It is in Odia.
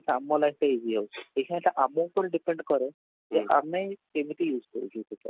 ଆମ life ଟା easy ହେଉଛି, ଏହା ଏଇଟା ଆମ ଉପରେ depend କରେ କି ଆମେ କେମିତି use କରୁଛୁ ସେଇଟା